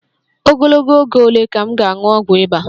Ogologo oge ole ka m ga-aṅụ ọgwụ ịba?